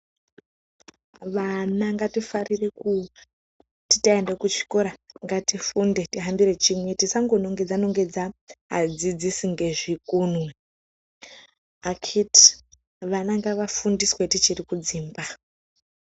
Vana ngatifarire kuti taenda kuzvikora ngatifunde tihambire chimwe. Tisangonongedza nongedza adzidzisi ngezvikunwe. Akiti vana ngavafundiswe tichiri kudzimba!